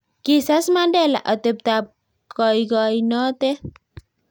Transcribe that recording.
kisas Mandela otebtab koikoinotet